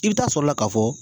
I bɛ taa sɔrɔla la ka fɔ